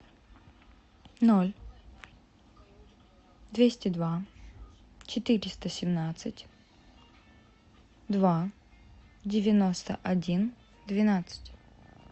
ноль двести два четыреста семнадцать два девяносто один двенадцать